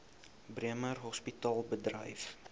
bremer hospitaal bedryf